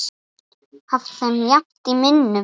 haft þeim jafnt í minnum.